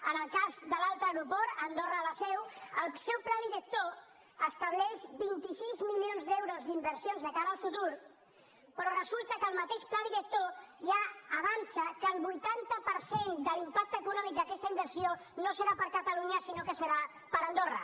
en el cas de l’altre aeroport andorra la seu el seu pla director estableix vint sis milions d’euros d’inversions de cara al futur però resulta que el mateix pla director ja avança que el vuitanta per cent de l’impacte econòmic d’aquesta inversió no serà per a catalunya sinó que serà per a andorra